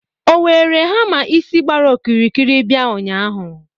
o were hamma isi gbara okirikiri bia ụnyahụ?